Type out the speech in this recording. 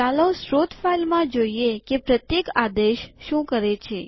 ચાલો સ્ત્રોત ફાઈલમાં જોઈએ કે પ્રત્યેક આદેશ શું કરે છે